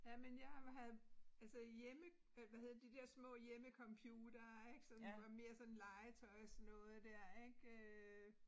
Jamen jeg havde altså hjemme øh hvad hedder de dér små hjemmecomputere ik sådan var mere sådan legetøjsnoget dér ik øh